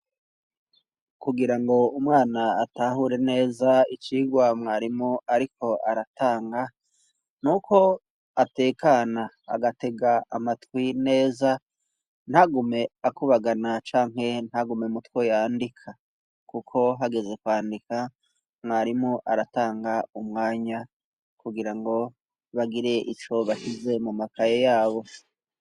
Kugira ngo umwana atahure neza icigwa mwarimu, ariko aratanga nuko atekana agatega amatwi neza ntagume akubagana canke ntagume mutwo yandika, kuko hageze kwandika mwarimu aratanga umwanya kugira ngo bagire ico bashize mu makaye yabo.